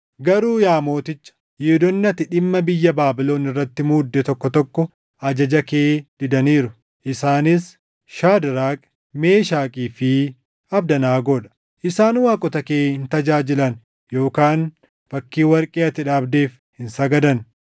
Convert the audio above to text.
Garuu yaa Mooticha, Yihuudoonni ati dhimma biyya Baabilon irratti muudde tokko tokko ajaja kee didaniiru; isaanis Shaadraak, Meeshakii fi Abdanaagoo dha. Isaan waaqota kee hin tajaajilan yookaan fakkii warqee ati dhaabdeef hin sagadan.”